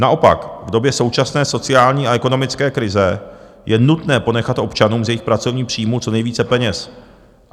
Naopak v době současné sociální a ekonomické krize je nutné ponechat občanům z jejich pracovních příjmů co nejvíce peněz.